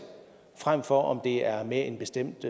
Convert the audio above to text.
frem for om det er med en bestemt